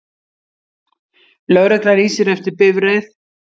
Lögregla lýsir eftir bifreið